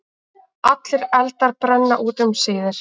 Allir eldar brenna út um síðir.